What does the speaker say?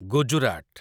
Gujarat